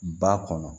Ba kɔnɔ